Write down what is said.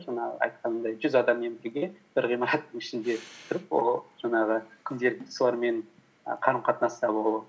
жаңағы айтқанымдай жүз адаммен бірге бір ғимараттың ішінде тұрып ол жаңағы күнделікті солармен і қарым қатынаста болу